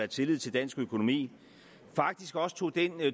tillid til dansk økonomi faktisk også tog den